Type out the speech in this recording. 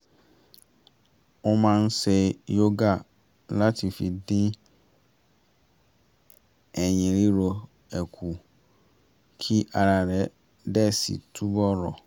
ó máa ń ṣe yoga láti fi dín ẹ̀yìn ríro ẹ kù kí ara rẹ̀ dẹ̀ si túbọ̀ rọ̀